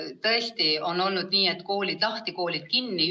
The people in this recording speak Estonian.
Tõesti on olnud nii, et koolid lahti, koolid kinni.